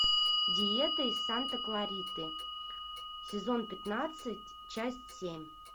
диета из санта клариты сезон пятнадцать часть семь